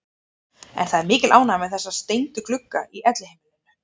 En það er mikil ánægja með þessa steindu glugga í Elliheimilinu.